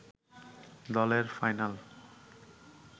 দলের ফাইনাল